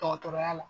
Dɔgɔtɔrɔya la